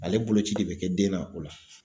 Ale boloci de bɛ kɛ den na o la